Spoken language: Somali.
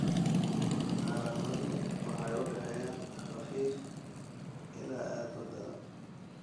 Calaamaduhu waxay u dhexeeyaan khafiif ilaa aad u daran.